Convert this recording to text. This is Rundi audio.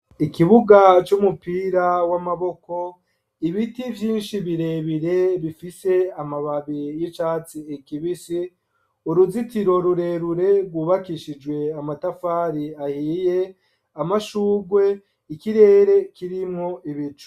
Ikibuga c'umupira w'amaboko, ibiti vyinshi birebire, bifise amababi y'icatsi kibisi, uruzitiro rurerure rwubakishijwe amatafari ahiye, amashugwe, ikirere kirimwo ibicu.